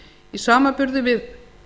í samanburði við